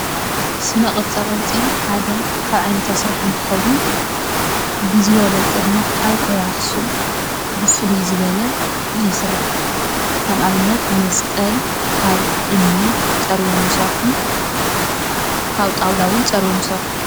ስነቅርፃ ቅርፂ ሓደ ካብ ዓይነት ስራሕ እንትኸውን ፤ብዝበለፀ ድማ ኣብ ከባቢ ኣክሱም ብፍለይ ዝበለ ይስራሕ። ከም ኣብነት መስቀል ካብ እምኒ ፀሪቦም ይሰርሑ ፣ ካብ ጣውላ እውን ፀሪቦም ይሰርሑ።